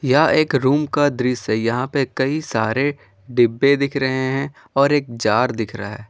यह एक रूम का दृश्य है यहां पर कई सारे डिब्बे दिख रहे हैं और एक जार दिख रहा है।